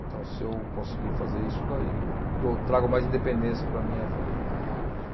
Então, se eu conseguir fazer isso daí, dou, trago mais independência para a minha família.